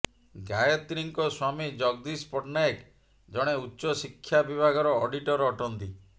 ଗାୟତ୍ରୀଙ୍କ ସ୍ୱାମୀ ଜଗଦୀଶ ପଟ୍ଟନାୟକ ଜଣେ ଉଚ୍ଚ ଶିକ୍ଷା ବିଭାଗର ଅଡ଼ିଟର ଅଟନ୍ତି